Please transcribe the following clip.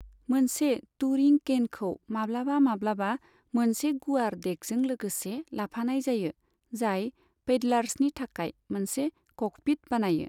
मोनसे टूरिं कैन'खौ माब्लाबा माब्लाबा मोनसे गुवार डेकजों लोगोसे लाफानाय जायो, जाय पैडलार्सनि थाखाय मोनसे 'क'कपिट' बानायो।